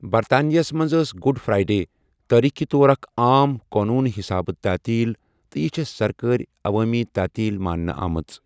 برطانِیاہس منٛز ٲس Good Friday تٲریخی طور اکھ عام قونوٗن حِصابہ تعطیل تہٕ یہِ چھےٚ سرکٲرۍ عوٲمی تعطیل ماننہ آمژ۔